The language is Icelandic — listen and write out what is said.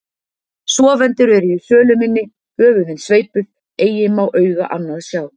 Sofendur eru í sölum inni, höfuðin sveipuð, eigi má auga annað sjá.